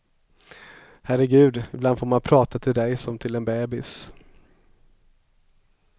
Herregud, ibland får man prata till dig som till en bebis.